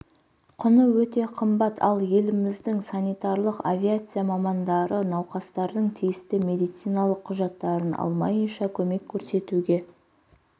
құны өте қымбат ал еліміздің санитарлық авиация мамандары науқастардың тиісті медициналық құжаттарын алмайынша көмек көрсетуге